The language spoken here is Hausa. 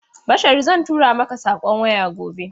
Bashari zan tura maka saƙon waya gobe.